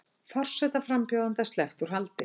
Forsetaframbjóðanda sleppt úr haldi